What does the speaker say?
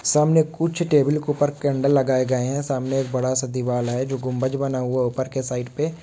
सामने कुछ टेबुल के ऊपर कैंडल लगाए गए हैं सामने एक बड़ा-सा दीवाल हैं जो गुम्बज बना हुआ हैं। ऊपर के साइड पे--